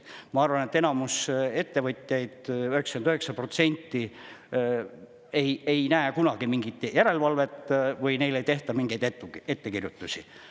Ma arvan, et enamus ettevõtjaid, 99% ei näe kunagi mingit järelevalvet või neile ei tehta mingeid ettekirjutusi.